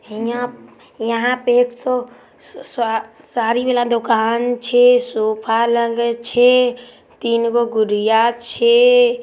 हियाप यहाँ पे एको स्वा-साड़ी वाला दुकान छै। सोफा लागल छै तीन गो गुड़िया छै।